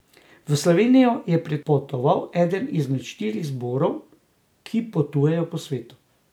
V Slovenijo je pripotoval eden izmed štirih zborov, ki potujejo po svetu.